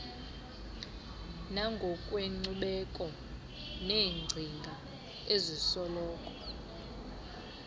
nangokwenkcubeko neengcinga ezisoloko